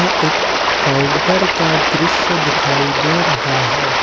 यह एक काउंटर का दृश्य दिखाई दे रहा है।